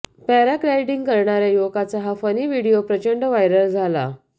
paragliding करणाऱ्या युवकाचा हा फनी व्हिडीओ प्रचंड वायरल झाला